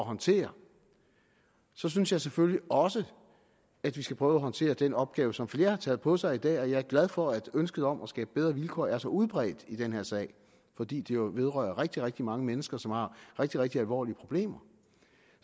håndtere så synes jeg selvfølgelig også at vi skal prøve at håndtere den opgave som flere har taget på sig i dag og jeg er glad for at ønsket om at skabe bedre vilkår er så udbredt i den her sag fordi det jo vedrører rigtig rigtig mange mennesker som har rigtig rigtig alvorlige problemer